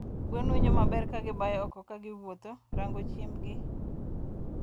gwen winjo maber kagibayo oko kagiwuotho rango chiembgi